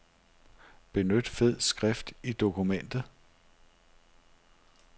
Benyt fed skrift i dokumentet.